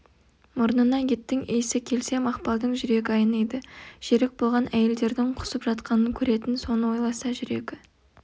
мұрнына еттің иісі келсе мақпалдың жүрегі айниды жерік болған әйелдердің құсып жатқанын көретін соны ойласа жүрегі